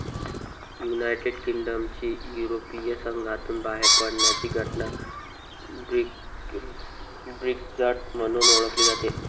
United किंगडमची युरोपीय संघातुन बाहेर पडण्याची घटना ब्रेक्झिट म्हणून ओळखली जाते.